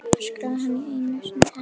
öskraði hann einu sinni enn.